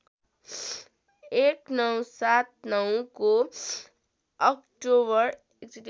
१९७९ को अक्टोबर